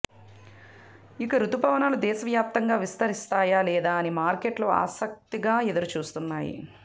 ఇక రుతుపవనాలు దేశవ్యాప్తంగా విస్తరిస్తాయా లేదా అని మార్కెట్లు ఆసక్తిగా ఎదురుచూస్తున్నాయి